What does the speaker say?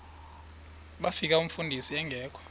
bafika umfundisi engekho